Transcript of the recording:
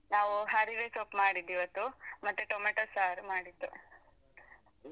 ಹೌದು ನಾವು ಹರಿವೆ ಸೊಪ್ಪು ಮಾಡಿದ್ ಇವತ್ತು ಮತ್ತೆ ಟೊಮೇಟೊ ಸಾರ್ ಮಾಡಿದ್ದು.